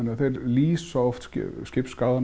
þeir lýsa oft